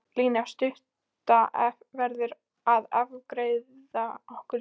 Lína stutta verður að afgreiða okkur líka.